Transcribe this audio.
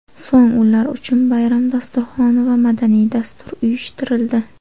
So‘ng ular uchun bayram dasturxoni va madaniy dastur uyushtirildi.